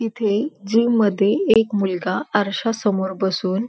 इथे जिम मध्ये एक मुलगा आरश्या समोर बसून--